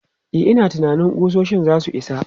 E, ina tunanin ƙusoshin za su isa.